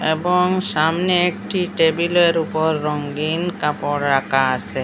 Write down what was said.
এবং সামনে একটি টেবিলের উপর রঙ্গিন কাপড় রাকা আসে ।